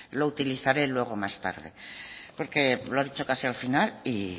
lo utilizaré luego más tarde porque lo ha dicho casi al final y